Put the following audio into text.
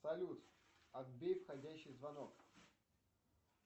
салют отбей входящий звонок